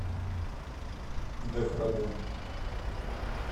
дехрадун